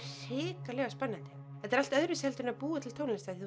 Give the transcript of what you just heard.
hrikalega spennandi þetta er allt öðruvísi heldur en að búa til tónlist af því